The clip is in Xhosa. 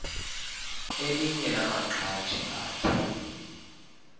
elinye lamaqhaji akhe